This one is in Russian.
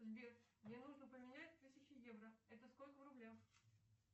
сбер мне нужно поменять тысячу евро это сколько в рублях